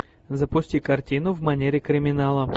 запусти картину в манере криминала